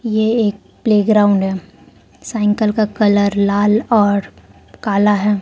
ये एक प्लेग्राउंड है साइकिल का कलर लाल और काला है।